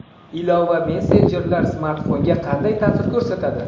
Ilova va messenjerlar smartfonga qanday ta’sir ko‘rsatadi?.